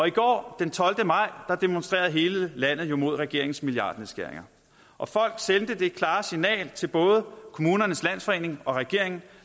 i går den tolvte maj demonstrerede hele landet jo imod regeringens milliardnedskæringer og folk sendte det klare signal til både kommunernes landsforening og regeringen